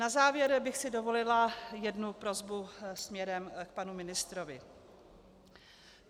Na závěr bych si dovolila jednu prosbu směrem k panu ministrovi.